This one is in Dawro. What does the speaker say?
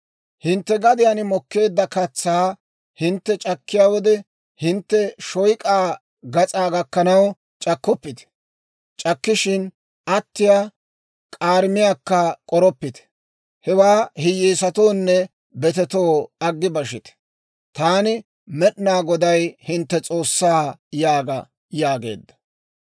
« ‹Hintte gadiyaan mokkeedda katsaa hintte c'akkiyaa wode, hintte shoyk'aa gas'aa gakkanaw c'akkoppite; c'akkishin attiyaa k'aarimiyaakka k'oroppite; hewaa hiyyeesatoonne betetoo aggi bashite. Taani, Med'inaa Goday, hintte S'oossaa› yaaga» yaageedda.